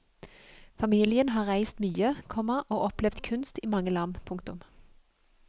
Familien har reist mye, komma og opplevd kunst i mange land. punktum